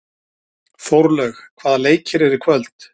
Þórlaug, hvaða leikir eru í kvöld?